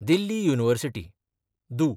दिल्ली university (दू)